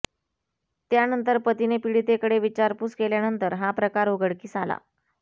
त्यांनतर पतीने पिडितकडे विचारपूस केल्यानंतर हा प्रकार उघडकीस आला